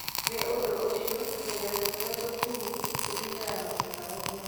Nĩ ũndũ ũcio, tũhengereta tũrĩa tũthũu tũthiaga na mwena ũmwe.